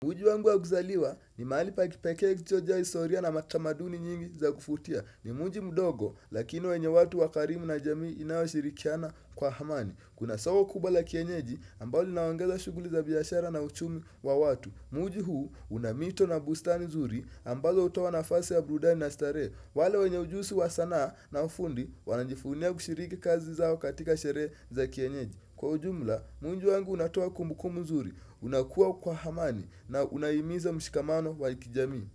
Mji wangu wa kuzaliwa ni mahali pa kipekee kichojaa hisoria na matamaduni nyingi za kuvutia. Ni mji mdogo lakini wenye watu wakarimu na jamii inayoshirikiana kwa amani. Kuna soko kubwa la kienyeji ambalo linaongeza shughuli za biashara na uchumi wa watu. Mji huu una mito na bustani zuri ambalo hutaoa nafasi ya burudani na starehe. Wale wenye ujuzi wa sanaa na ufundi wanajivunia kushiriki kazi zao katika sherehe za kienyeji. Kwa ujumla, mji wangu unatoa kumbuku nzuri, unakuwa kwa amani na unahimiza mshikamano wakijamii.